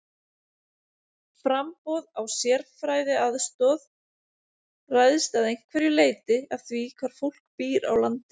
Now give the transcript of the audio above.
Framboð á sérfræðiaðstoð ræðst að einhverju leyti af því hvar fólk býr á landinu.